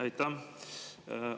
Aitäh!